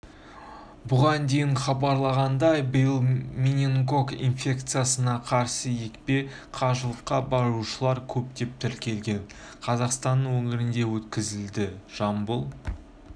бұған дейін хабарлағандай биыл менингокок инфекциясына қарсы екпе қажылыққа барушылар көптеп тіркелген қазақстанның өңірінде өткізіледі жамбыл